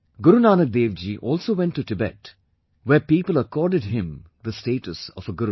Guru Nanak Dev Ji also went to Tibet where people accorded him the status of a Guru